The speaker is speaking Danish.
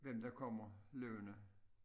Hvem der kommer løbende